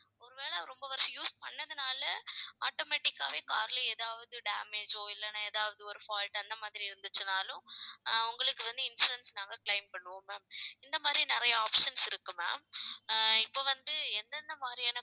ஒருவேளை ரொம்ப வருஷம் use பண்ணதுனால, automatic ஆவே car ல ஏதாவது damage ஓ, இல்லைன்னா ஏதாவது ஒரு fault அந்த மாதிரி இருந்துச்சுன்னாலும் அஹ் உங்களுக்கு வந்து, insurance நாங்க claim பண்ணுவோம் ma'am இந்த மாதிரி நிறைய options இருக்கு ma'am அஹ் இப்ப வந்து எந்தெந்த மாதிரியான